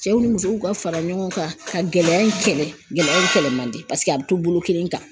Cɛw ni musow ka fara ɲɔgɔn kan, ka gɛlɛya in kɛlɛ, gɛlɛya in kɛlɛ man di, paseke a bɛ to bolo kelen kan.